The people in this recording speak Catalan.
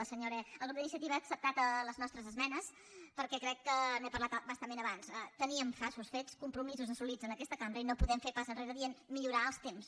la senyora el grup d’iniciativa ha acceptat les nostres esmenes perquè crec que n’he parlat a bastament abans teníem passos fets compromisos assolits en aquesta cambra i no podem fer un pas enrere dient millorar els temps